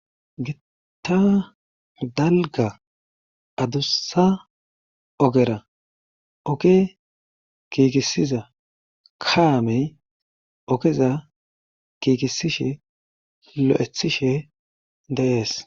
gitta dalga adussa ogera oke kiikissiza kaamey okeza gigisishe lo7ethishe dee'es.